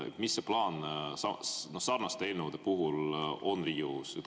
Mis see plaan sarnaste eelnõude puhul on Riigikogus?